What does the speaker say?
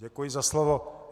Děkuji za slovo.